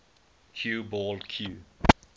cue ball cue